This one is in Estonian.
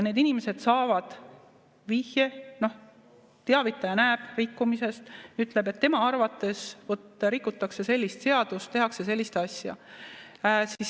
Need inimesed saavad vihje, teavitaja näeb rikkumist, ütleb, et tema arvates rikutakse sellist seadust, tehakse sellist asja.